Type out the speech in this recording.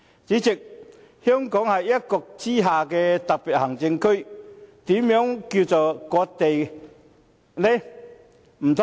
主席，香港是一國之下的特別行政區，又何來割地呢？